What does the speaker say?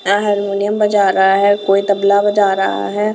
यह हारमोनियम बजा रहा है कोई तबला बजा रहा है।